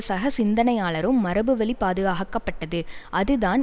சக சிந்தனையாளரும் மரபுவழி பாதுகாக்கப்பட்டது இதுதான்